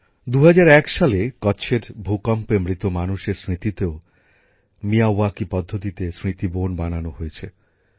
২০০১ সালে কচ্ছের ভূকম্পে মৃত মানুষের স্মৃতিতেও মিয়াওয়াকি পদ্ধতিতে স্মৃতিবন বানানো হয়েছে